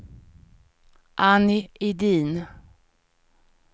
Annie Edin